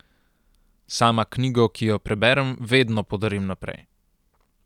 Sama knjigo, ki jo preberem, vedno podarim naprej.